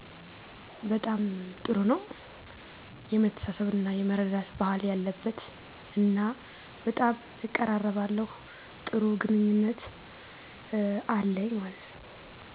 በጣም ጥሩ ነው የመተሳሰብ እና የመረዳዳት ባህል ያለበት እና በጣም እቀራለባለሁ ጥሩ ግንኙነት አለኝ